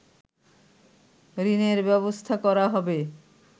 ঋণের ব্যবস্থা করা হবে